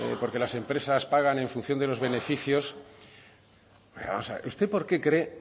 porque las empresas pagan en función de los beneficios usted porque cree